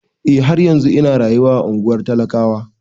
Eh, har yanzun ina rayuwa a ungwar talakawa.